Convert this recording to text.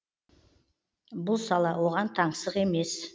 бұл сала оған таңсық емес